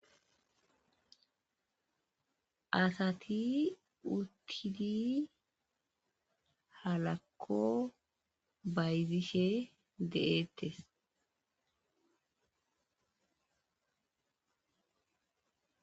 asati uttidi halakko bayzishe de'ettes